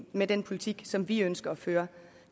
med den politik som vi ønsker at føre